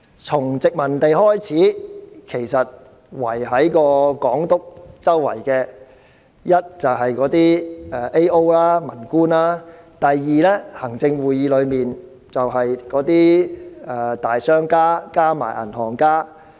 在殖民時代，在總督身邊的一是政務主任、民官，另一是行政會議內的大商家及銀行家。